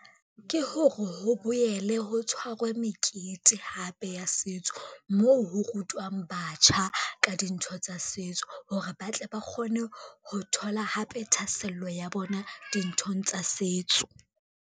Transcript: Ke hore ho boele ho tshwarwe mekete hape ya setso, moo ho rutwang batjha ka dintho tsa setso hore, ba tle ba kgone ho thola hape thahasello ya bona dinthong tsa setso.